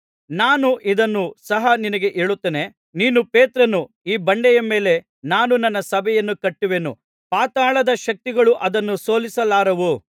ನಾನು ಇದನ್ನು ಸಹ ನಿನಗೆ ಹೇಳುತ್ತೇನೆ ನೀನು ಪೇತ್ರನು ಈ ಬಂಡೆಯ ಮೇಲೆ ನಾನು ನನ್ನ ಸಭೆಯನ್ನು ಕಟ್ಟುವೆನು ಪಾತಾಳದ ಶಕ್ತಿಗಳು ಅದನ್ನು ಸೋಲಿಸಲಾರವು